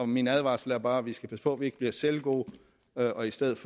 min advarsel er bare at vi skal passe på at vi ikke bliver selvgode og i stedet